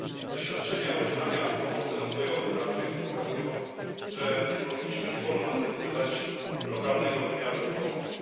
Doświadczenia udzielania pomocy rozwojowej Afryce pokazują, że nie powinniśmy, nie wolno nam zaniedbywać lokalnego wymiaru tej pomocy.